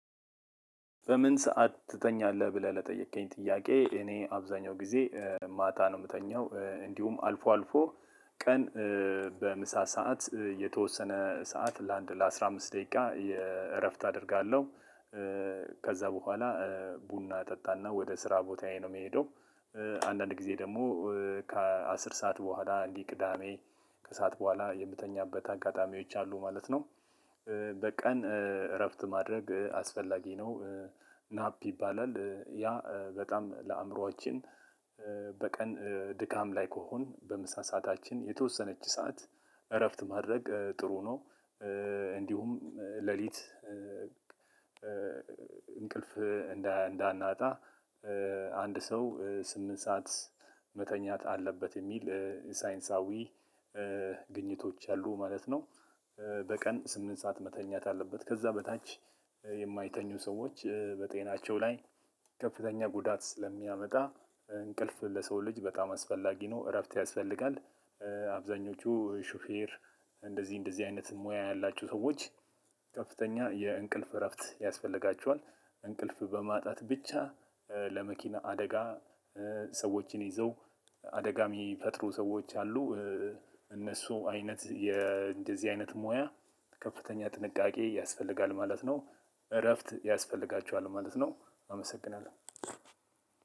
በምን ሰዓት ትተኛለህ ብለህ ለጠየከኝ ጥያቄ? እኔ አብዛኛው ጊዜ ማታ ነው የምተኛው እንዲሁም አልፎ አልፎ ቀን በምሳ ሰዓት የተወሰነ ሰዓት ለአንድ ለአስራ አምስት ደቂቃ የእረፍት አደርጋለሁ። ከዛ በኋላ ቡና እጣና ወደ ስራ ቦታዬ ነው የሚሄደው። አንዳንድ ጊዜ ደግሞ ከአስር ሰዓት በኋላ እንዲህ ቅዳሜ ከሰአት በኋላ የምተኛበት አጋጣሚዎች አሉ ማለት ነው። በቀን እረፍት ማድረግ አስፈላጊ ነው። ናፕ ይባላል ያ በጣም ለአእምሮአችን በቀን ድካም ላይ ከሆን በመሳሳታችን የተወሰነች ሰዓት እረፍት ማድረግ ጥሩ ነው። እንዲሁም ሌሊት እንቅልፍ እንዳ እንዳናጣ አንድ ሰው ስምንት ሰዓት መተኛት አለበት የሚል ሳይንሳዊ ግኝቶች አሉ ማለት ነው። በቀን ስምንት ሰዓት መተኛት አለበት ከዛ በታች የማይተኙ ሰዎች በጤናቸው ላይ ከፍተኛ ጉዳት ስለሚያመጣ እንቅልፍ ለሰው ልጅ አስፈላጊ ነው እረፍት ያስፈልጋል። አብዛኞቹ ሹፌር እንደዚህ እንደዚህ አይነት ሙያ ያላችሁ ሰዎች ከፍተኛ የእንቅልፍ እረፍት ያስፈልጋቸዋል። እንቅልፍ በማጣት ብቻ ለመኪና አደጋ ሰዎችን ይዘው አደጋሚ ፈጥሮ ሰዎች አሉ። እነሱ አይነት እንደዚህ አይነት ሞያ ከፍተኛ ጥንቃቄ ያስፈልጋል ማለት ነው። እረፍት ያስፈልጋቸዋል ማለት ነው። አመሰግናለሁ።